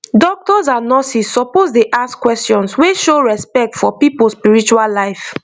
doctors and nurses suppose dey ask questions wey show respect for people spiritual life